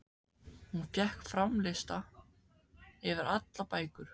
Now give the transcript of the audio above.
Hún fékk fram lista yfir allar bækur